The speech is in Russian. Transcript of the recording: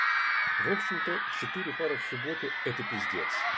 в общем-то четыре пары в субботу это пиздец